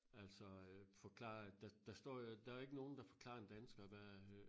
Altså øh forklare der der står jo der jo ikke nogen der forklarer en dansker hvad øh